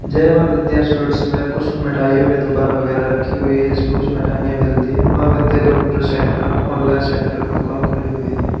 जय मां विद्या स्वीट्स में कुछ मिठाइयों की दुकान वगैरह रखी हुई है जिसमें कुछ मिठाइयां मिलती हैं मां विद्या कंप्यूटर सेंटर में ऑनलाइन सेंटर की दुकान खुली हुई है।